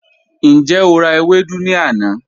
Njẹ o ra ewedu ni ana?